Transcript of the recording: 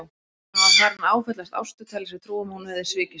Hann var farinn að áfellast Ástu, telja sér trú um að hún hefði svikið sig.